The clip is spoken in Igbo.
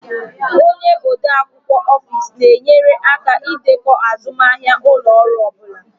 Onye ode akwụkwọ Ofis na-enyere aka ịdekọ azụmahịa ụlọ ọrụ ọ bụla